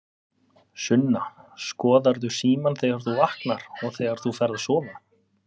Sunna: Skoðarðu símann þegar þú vaknar og þegar þú ferð að sofa?